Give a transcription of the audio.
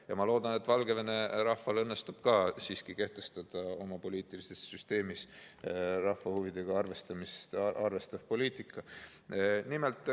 Ja ma loodan, et Valgevene rahval õnnestub ka siiski kehtestada oma poliitilises süsteemis rahva huvidega arvestav poliitika.